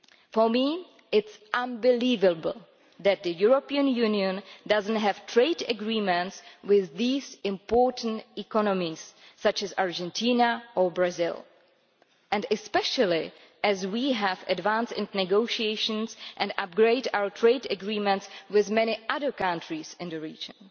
For me it is unbelievable that the European Union does not have trade agreements with these important economies, such as Argentina or Brazil, especially as we have advanced in negotiations and upgraded our trade agreements with many other countries in the region.